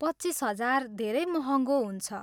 पच्चिस हजार धेरै महँगो हुन्छ।